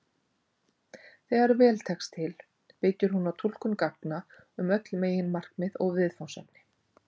Þegar vel tekst til byggir hún á túlkun gagna um öll meginmarkmið og viðfangsefni.